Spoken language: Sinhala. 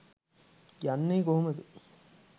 යන්නෙ කොහොම ද?